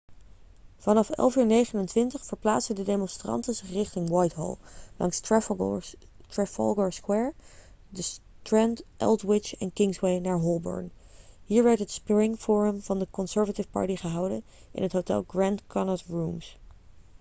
vanaf 11.29 uur verplaatsten de demonstranten zich richting whitehall langs trafalgar square de strand aldwych en kingsway naar holborn hier werd het spring forum van de conservative party gehouden in het hotel grand connaught rooms